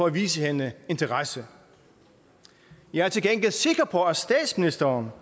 at vise hende interesse jeg er til gengæld sikker på at statsministeren